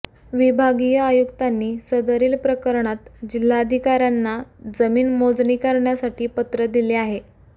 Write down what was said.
विभागीय आयुक्तांनी सदरील प्रकरणात जिल्हाधिकाऱ्यांना जमीन मोजणी करण्यासाठी पत्र दिले आहे